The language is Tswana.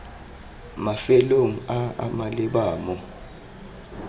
mafelong a a maleba mo